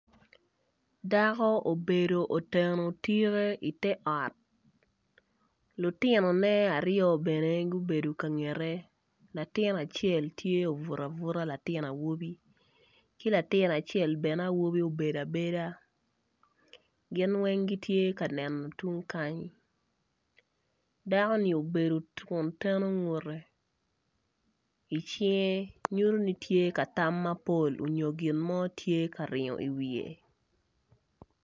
Dako obedo oteno tike i te ot lutinone aryo bene gubedo ka ngete latin acel tye obuto abuta latin awobi ki latin acel awobi bene obedoabeda gin weng gitye ka neno dakoni obedo kun teno ngute i cinge nyuto ni tye ka tam mapol nyo gin mo tye ka ringo i wiye.